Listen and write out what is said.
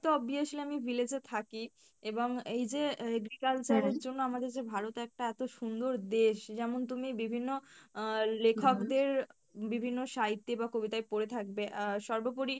তো obviously আমি village এ থাকি এবং এইযে agriculture এর জন্য আমাদের যে ভারত একটা এতো সুন্দর দেশ যেমন তুমি বিভিন্ন আহ লেখকদের বিভিন্ন সাহিত্যে বা কবিতাই পড়ে থাকবে আহ সর্বপরি